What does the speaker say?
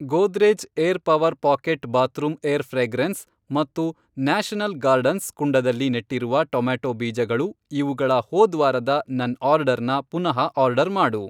Godrej air power pocket bathroom air fragrance ಮತ್ತು national gardens ಕುಂಡದಲ್ಲಿ ನೆಟ್ಟಿರುವ ಟೊಮ್ಯಾಟೊ ಬೀಜಗಳು ಇವುಗಳ ಹೋದ್ವಾರದ ನನ್ ಆರ್ಡರ್ನ ಪುನಃ ಆರ್ಡರ್ ಮಾಡು.